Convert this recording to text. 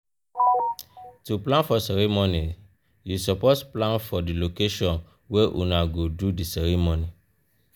to plan for ceremony you support plan for di location wey una go do di ceremony